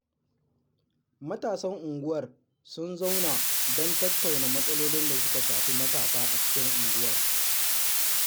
Matasan unguwar sun zauna don tattauna matsalolin da suka shafi matasa a cikin unguwar